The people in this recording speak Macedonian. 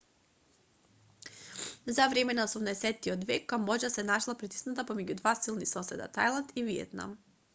за време на 18-тиот век камбоџа се нашла притисната помеѓу два силни соседа тајланд и виетнам